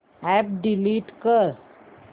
app delete कर